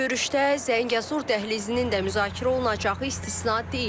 Görüşdə Zəngəzur dəhlizinin də müzakirə olunacağı istisna deyil.